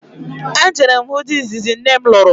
E jere m hụ di izizi nne m lụrụ